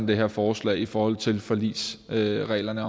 det her forslag i forhold til forligsreglerne